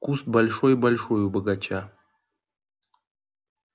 куст большой-большой у бочага